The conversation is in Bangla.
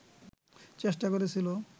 চেষ্টা করেছিল